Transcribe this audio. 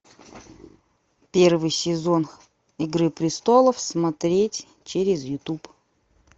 первый сезон игры престолов смотреть через ютуб